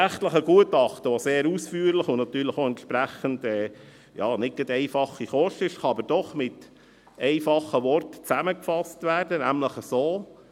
Das rechtliche Gutachten, welches sehr ausführlich und entsprechend «keine einfache Kost» ist, kann doch mit einfachen Worten zusammengefasst werden, nämlich so: